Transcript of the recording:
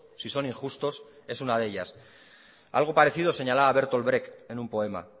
sin son injustos es una de ellas algo parecido señalaba bertolt brecht en un poema